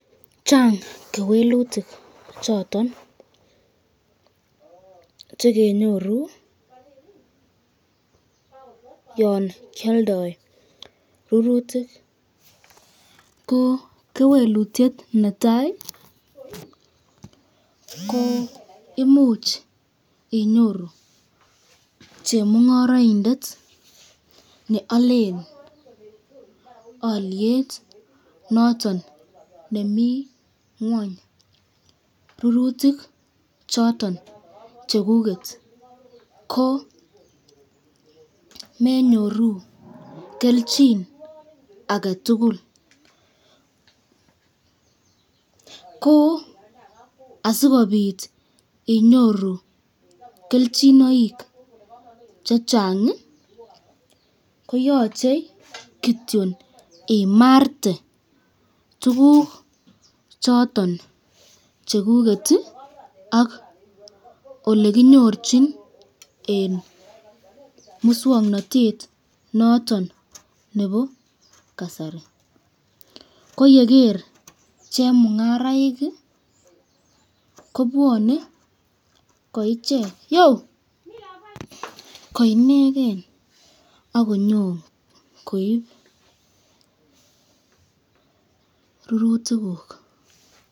Chang kewelutik choton chekenyoru yon kialdoi rurutik, ko kewelutyet netai ko imuch inyoru chemungaraindet nealen alyet noton nemi ngwany, rurutik choton chekuket, ko menyoru kelchin aketukul, ko asikobit inyoru kelchinoik chengang, koyache kityon imarte tukuk choton chekuket ak olekinyirchon eng muswoknotet noton nebo kasari, ko yeger chemungaraik kobwane koichek, koineken akonyokoib rurutikuk.